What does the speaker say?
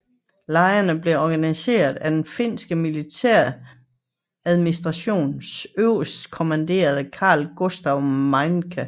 Lejrene blev organiseret af den finske militæradministrations øverstkommanderende Carl Gustaf Mannerheim